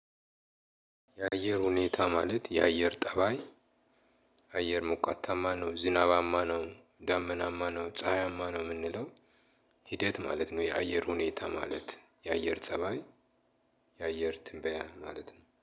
የአየር ሁኔታ ማለት የአየር ጠባይ አየር መቆታማ ነው ዝናባማ ነው ዳመናማ ነው ፀሀያማ ነው የምንለው። ሂደት ማለት ነው። የአየር ሁኔታ ማለት የአየር ፀባይ። የአየር ትንበያ ማለት ነው